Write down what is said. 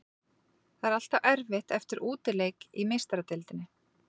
Það er alltaf erfitt eftir útileik í Meistaradeildinni.